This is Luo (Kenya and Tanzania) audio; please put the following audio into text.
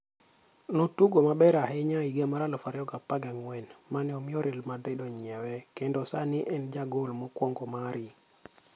Notugo maber ahinya e higa mar 2014 mane omiyo Real Madrid onyiewe kendo sani en e jagol mokwongo mari.